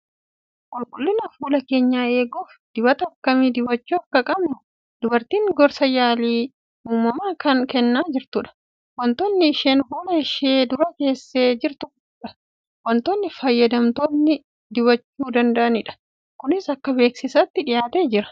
Qulqullina fuula keenyaa eeguuf dibata akkamii dibachuu akka qabnu dubartiin gorsa yaalii uumamaa kan kennaa jirtudha. Waantonni isheen fuula ishee dura keessee jirtudha, waantota fayyadamtoonni dibachuu qabanidha. Kunis akka beeksisaatti dhiyaatee jira.